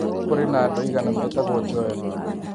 Kũrĩ na andũ aigana metagwo Joel